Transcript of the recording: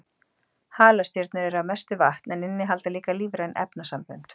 Halastjörnur eru að mestu vatn en innihalda líka lífræn efnasambönd.